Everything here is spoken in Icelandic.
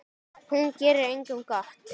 Hún gerir engum gott.